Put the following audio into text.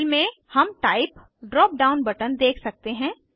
fill में हम type drop down button देख सकते हैं